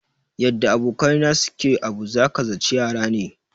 Yadda abokai na su ke abu, za ka zaci yara ne.